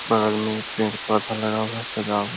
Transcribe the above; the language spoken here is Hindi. बगल में पेड़-पौधा लगा हुआ है सजावट --